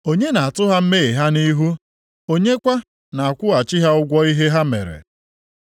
Onye na-atụ ha mmehie ha nʼihu? Onye kwa na-akwụghachi ha ụgwọ ihe ha mere?